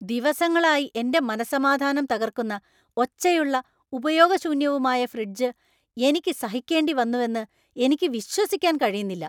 ദിവസങ്ങളായി എന്‍റെ മനസ്സമാധാനം തകർക്കുന്ന, ഒച്ചയുള്ള, ഉപയോഗശൂന്യവുമായ ഫ്രിഡ്ജ് എനിക്ക് സഹിക്കേണ്ടിവന്നുവെന്ന് എനിക്ക് വിശ്വസിക്കാൻ കഴിയുന്നില്ല!